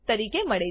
તરીકે મળે છે